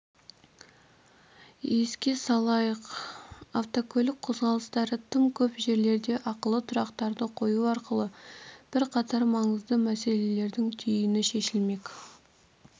еске салайық автокөлік қозғалыстары тым көп жерлерде ақылы тұрақтарды қою арқылы бірқатар маңызды мәселелердің түйіні шешілмек